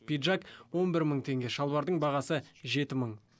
пиджак он бір мың теңге шалбардың бағасы жеті мың